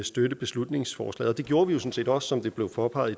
støtte beslutningsforslaget det gjorde vi jo sådan set også som det blev påpeget